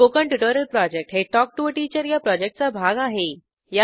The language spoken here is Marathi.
स्पोकन ट्युटोरियल प्रॉजेक्ट हे टॉक टू टीचर या प्रॉजेक्टचा भाग आहे